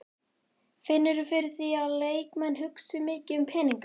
Finnurðu fyrir því að leikmenn hugsi mikið um peninga?